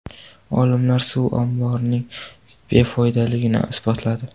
Olimlar suv omborlarining befoydaligini isbotladi.